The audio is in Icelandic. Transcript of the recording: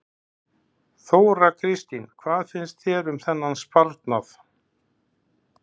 Þóra Kristín: Hvað finnst þér um þennan sparnað?